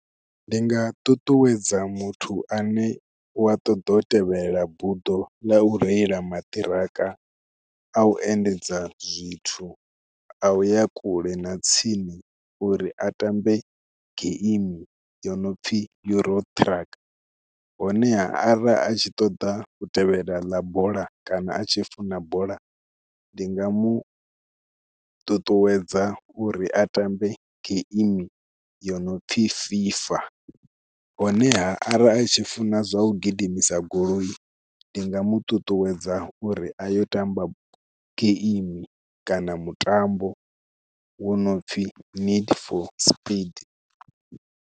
Ndi nga ṱuṱuwedza muthu ane u wa ṱoḓa u tevhelela buḓo ḽa u reila maṱiraka a u endedza zwithu a u ya kule na tsini uri a tambe gaimi yo no pfhi Euro Truck, honeha ara a tshi ṱoḓa u tevhela ḽa bola kana a tshi funa bola, ndi nga mu ṱuṱuwedza uri a ṱambe geimi yo no pfhi FIFA honeha arali a tshi funa zwa u gidimisa goloi ndi nga mu ṱuṱuwedza uri a yo tamba geimi kana mutambo wo no pfhi Need for Speed.